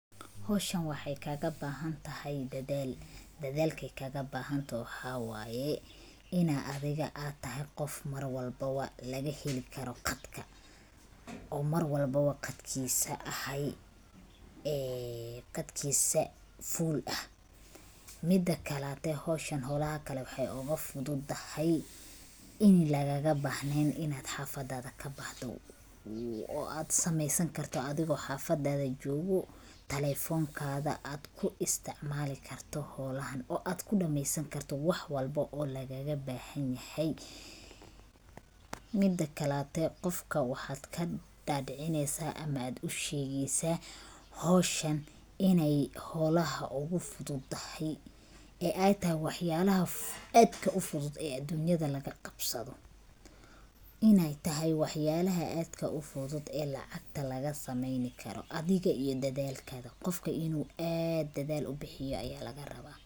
Howshan waxaay kaagabahantahay dedaal. Dedaalka ay kaagabahantahay waxaa waayi inaa adiga aad tahay qof mar walbo lagaheli karo qatka, oo marwalbo qatkiisa ahay ee qatkiisa full ah. Midakaleeto, howshan howlaha kale waxaay ugu fududahay in lagaagabahneen in aad haafadaada kabahdo oo aad sameysankarto adigoo haafadaada joogo. Telefonkaada aad ku isticmaalikarto howlahaan oo aad ku dameysankarto wax walbo oo lagaagabahinyahay. Midkaleeto, qofka wahaad kadhaadhicineysaa ama aad usheegeysaa howshan inay howlaha ugu fudud tahay, ee ay tahay waxyaalaha aadka u fudud aduunyada laga qabsado. Inaay tahay waxyaalaha aadka u fudud oo lacagta lagasameynkaro, adiga iyo dedaalkaada, qofka inuu aad dedaal u bixiyo ayaa lagarabaa.